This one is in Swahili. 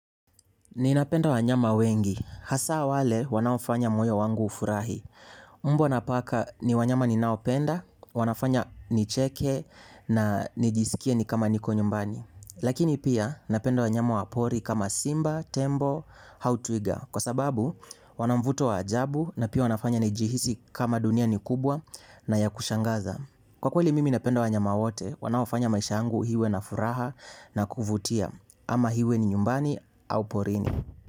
Ninapenda wanyama wengi. Hasa wale wanaofanya moyo wangu ufurahi. Mbwa na paka ni wanyama ninaopenda, wanafanya nicheke na nijisikie ni kama niko nyumbani. Lakini pia napenda wanyama wa pori kama vile simba, tembo au twiga. Kwa sababu wanamvuto wa ajabu na pia wanafanya nijihisi kama dunia ni kubwa na ya kushangaza. Kwa kweli mimi napenda wanyama wote, wanaofanya maisha yangu iwe na furaha na kuvutia. Ama iwe ni nyumbani au porini.